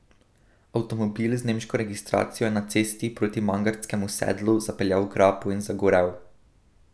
Avtomobil z nemško registracijo je na cesti proti Mangartskemu sedlu zapeljal v grapo in zagorel.